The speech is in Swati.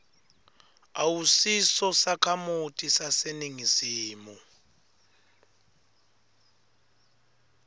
awusiso sakhamuti saseningizimu